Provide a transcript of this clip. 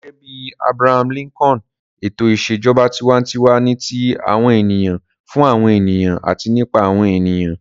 Gẹ́gẹ́ bí Abraham Lincoln, ètò ìṣèjọba tiwantiwa ni ti àwọn ènìyàn, fún àwọn ènìyàn àti nípa àwọn ènìyàn.